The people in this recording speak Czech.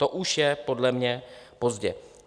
To už je podle mě pozdě.